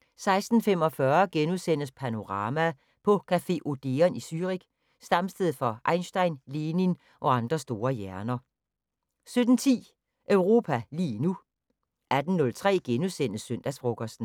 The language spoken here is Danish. * 16:45: Panorama: På café Odeon i Zürich, stamsted for Einstein, Lenin og andre store hjerner * 17:10: Europa lige nu 18:03: Søndagsfrokosten *